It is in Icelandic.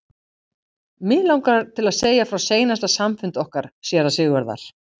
Mig langar til að segja frá seinasta samfundi okkar séra Sigurðar.